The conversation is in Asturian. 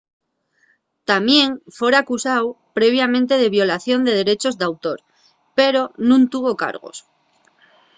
tamién fora acusáu previamente de violación de derechos d'autor pero nun tuvo cargos